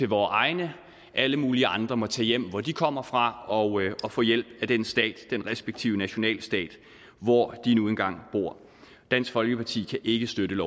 vore egne og at alle mulige andre må tage hjem hvor de kommer fra og få hjælp af den respektive nationalstat hvor de nu engang bor dansk folkeparti kan ikke støtte